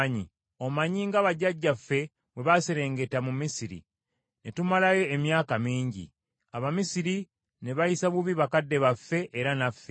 Omanyi nga bajjajjaffe bwe baaserengeta mu Misiri, ne tumalayo emyaka mingi. Abamisiri ne bayisa bubi bakadde baffe, era naffe;